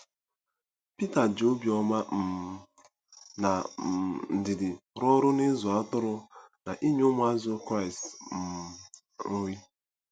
Pita ji obiọma um na um ndidi rụọ ọrụ n’ịzụ atụrụ na inye ụmụazụ Kraịst um nri.